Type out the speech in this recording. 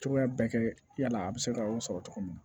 Cogoya bɛɛ kɛ yala a bɛ se ka sɔrɔ cogo min na